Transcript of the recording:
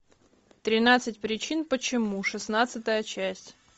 тринадцать причин почему шестнадцатая часть